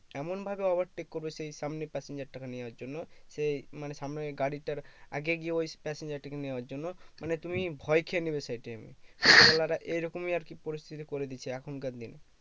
এমনভাবে overtake করবে সে সামনে passenger টাকে নেওয়ার জন্য সে মানে সামনে গাড়িটার আগে গিয়ে ওই passenger টাকে নেওয়ার জন্য মানে তুমি ভয় খেয়ে নেবে সেই time এ এরকমই আর কি পরিস্থিতি করে দিয়েছে এখনকার দিনে